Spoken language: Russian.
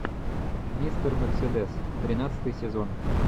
мистер мерседес тринадцатый сезон